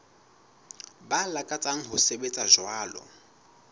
ba lakatsang ho sebetsa jwalo